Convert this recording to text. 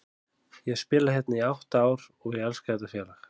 Ég hef spilað hérna í átta ár og ég elska þetta félag.